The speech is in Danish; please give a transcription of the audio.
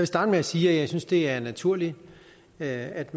starte med sige at jeg synes det er naturligt at